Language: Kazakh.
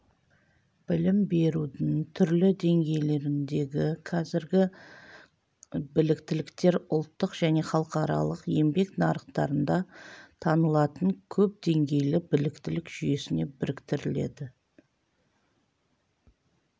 білім берудің түрлі деңгейлеріндегі қазіргі біліктіліктер ұлттық және халықаралық еңбек нарықтарында танылатын көпдеңгейлі біліктілік жүйесіне біріктіріледі